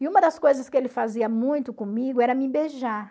E uma das coisas que ele fazia muito comigo era me beijar.